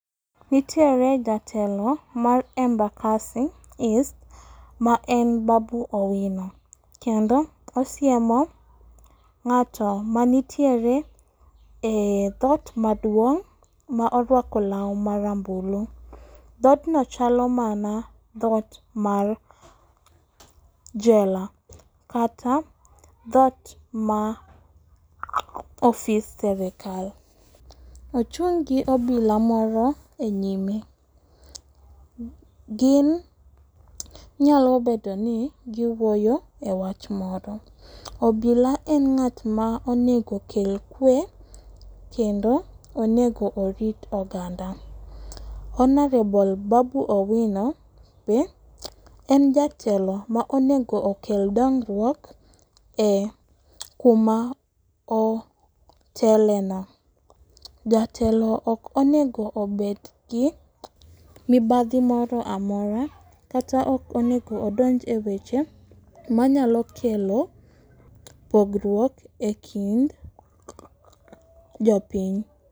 Nitiere jatelo mar Embakasi east ma en Babu Owino. Kendo osiemo ng'ato manitiere e dhot maduong' ma orwako law ma rambulu. Dhodno chalo mana dhot mar jela. Kata dhot ma office serikal. Ochung' gi obila moro e nyime. Gin nyalo bedo ni giwuoyo e wach moro. Obila en ng'at ma onego okel kwe kendo onego orit oganda. Honorable Babu Owino ni en jatelo ma onego okel dongruok e kuma otele no. Jatelo ok onego obed gi mibadhi moro amora kata ok onego odnj e weche manyalo kelo pogruok e kind jopiny.